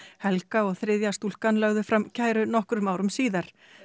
helga og þriðja stúlkan lögðu fram kæru nokkrum árum síðar